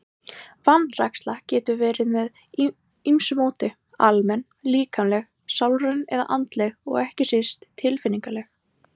Vanræksla getur verið með ýmsu móti, almenn, líkamleg, sálræn eða andleg og ekki síst tilfinningaleg.